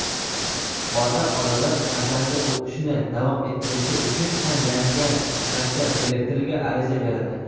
Ota-onalar farzandi o‘qishni davom ettirishi uchun tanlangan maktab direktoriga ariza beradi.